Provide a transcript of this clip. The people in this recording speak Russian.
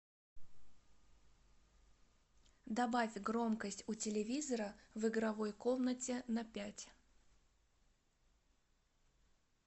добавь громкость у телевизора в игровой комнате на пять